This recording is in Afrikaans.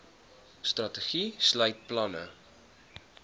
strategie sluit planne